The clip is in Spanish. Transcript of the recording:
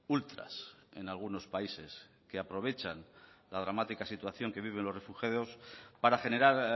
ultras en algunos países que aprovechan la dramática situación que viven los refugiados para generar